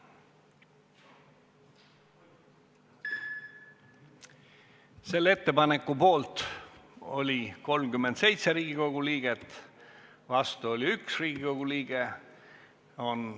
Hääletustulemused Selle ettepaneku poolt oli 37 Riigikogu liiget, vastu oli 1 Riigikogu liige.